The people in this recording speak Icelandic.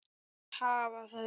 Þær hafa það gott.